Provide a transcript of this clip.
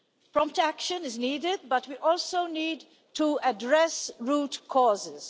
Prompt action is needed, but we also need to address root causes.